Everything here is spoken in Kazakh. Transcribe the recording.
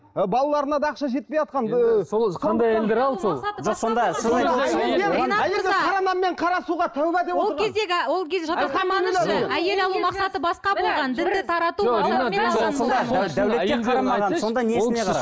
ы балаларына да ақша жетпейатқан ыыы қара нан сен қара суға тәуба деп отырған